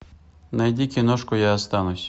найди киношку я останусь